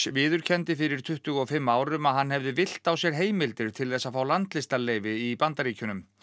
viðurkenndi fyrir tuttugu og fimm árum að hann hefði villt á sér heimildir til þess að fá landvistarleyfi í Bandaríkjunum